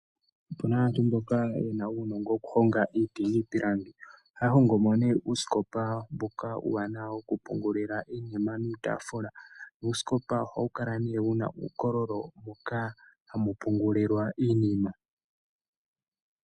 Opuna aantu mboka ye na uunongo woku honga iiti niipilangi. Ohaya hongo mo nduno uusikopa mboka wokupungula iinima niitaafula. Uusikopa ohawu kala wu na uukololo moka ha mu pungulwa iinima.